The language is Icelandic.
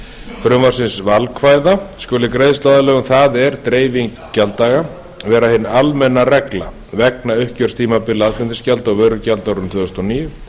frumvarpsins valkvæða skuli greiðsluaðlögun vera hin almenna regla vegna uppgjörstímabila aðflutningsgjalda og vörugjalda á árinu tvö þúsund og níu